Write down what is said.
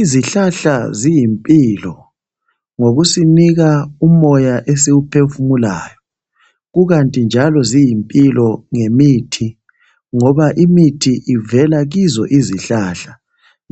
Izihlahla ziyimphilo ngokusinika umoya esiwuphefumulayo. Kukathi njalo ziyimphilo ngemithi, ngoba imithi ivela kizo izihlahla.